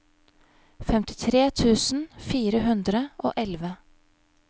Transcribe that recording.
femtitre tusen fire hundre og elleve